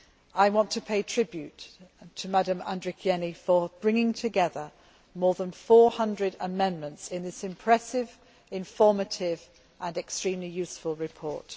I want to pay tribute to Dr Andrikienė for bringing together more than 400 amendments in this impressive, informative and extremely useful report.